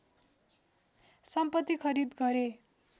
सम्पत्ति खरिद गरे